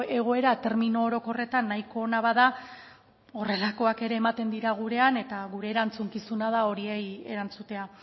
egoera termino orokorretan nahiko ona bada horrelakoak ere ematen dira gurean eta gure erantzukizuna da horiei erantzutea